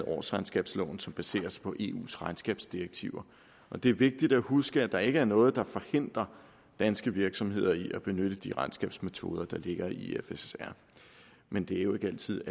årsregnskabsloven som baserer sig på eus regnskabsdirektiver og det er vigtigt at huske at der ikke er noget der forhindrer danske virksomheder i at benytte de regnskabsmetoder der ligger i ifrs men det er jo ikke altid